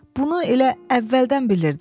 Bunu elə əvvəldən bilirdim.